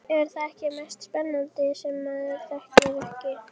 Er það ekki mest spennandi sem maður þekkir ekki?